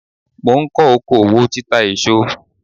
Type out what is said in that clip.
Mò ń kọ́ oko òwò títa èso.